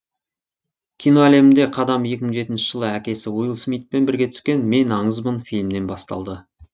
кино әлемінде қадам екі мың жетінші жылы әкесі уилл смитпен бірге түскен мен аңызбын фильмінен басталды